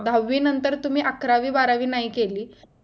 दहावी नंतर तुम्ही अकरावी बारावी नाही केली